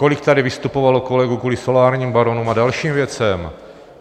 Kolik tady vystupovalo kolegů kvůli solárním baronům a dalším věcem.